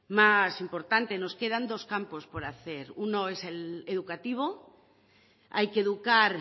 más importante nos quedan dos campos por hacer uno es el educativo hay que educar